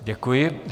Děkuji.